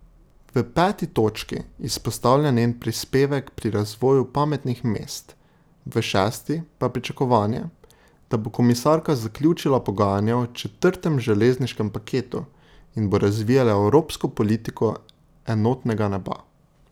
V peti točki izpostavlja njen prispevek pri razvoju pametnih mest, v šesti pa pričakovanje, da bo komisarka zaključila pogajanja o četrtem železniškem paketu in bo razvijala evropsko politiko enotnega neba.